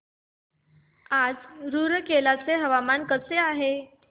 आज रूरकेला चे हवामान कसे आहे